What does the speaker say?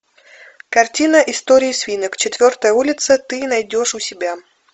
картина истории свинок четвертая улица ты найдешь у себя